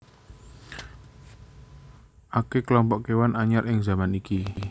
Akè klompok kéwan anyar ing zaman iki